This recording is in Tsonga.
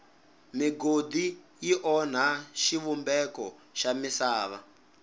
migodi yi onha xivumbeko xa misava